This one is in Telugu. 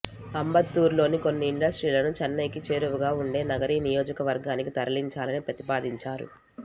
అంబత్తూరులోని కొన్ని ఇండస్ట్రీలను చెన్నైకి చేరువగా ఉండే నగరి నియోజకవర్గానికి తరలించాలని ప్రతిపాదించారు